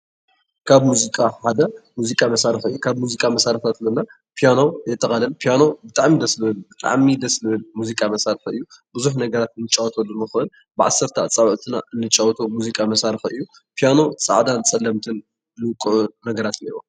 ካብ ሙዚቃ ሓደ ሙዚቃ መሳሪሒ እዩ። ካብ ሙዚቃ መሳሪሒ እንብሎም ፕያኖ የጠቃልል። ፕያኖ ብጣዕሚ ደስ ! ዝብል ብጣዕሚ ደስ ! ዝብል ሙዚቃ መሳሪሒ እዩ። ብዙሕ ነገር እንፀቅጠሉ እንንኮን ብ10ተ ኣፃብዕትና እንጫወቶ ዓይነት መሳሪሒ ኮይኑ፣ ፕያኖ ፃዕዳን ፀለምትን ዝውቅዑ ነገራት እኒአውዎ።